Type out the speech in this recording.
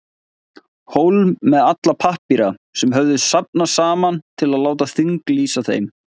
Hólm með alla pappíra, sem höfðu safnast saman, til að láta þinglýsa þeim.